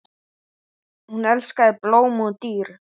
Hún elskaði blóm og dýr.